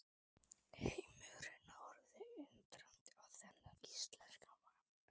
Heimurinn horfði undrandi á þennan íslenska mann.